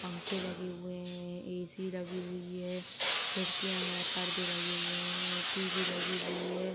पंख लगे हुए हैं। एसी लगा हुआ है। खिड़कियां हैं। पर्दे लगे हुए हैं। टीवी लगी हुई है।